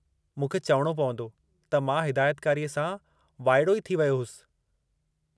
मूंखे चवणो पवंदो त मां हिदायतकारीअ सां वाइड़ो ई थी वियो होसि।